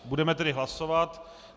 Budeme tedy hlasovat.